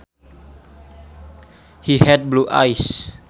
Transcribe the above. He had blue eyes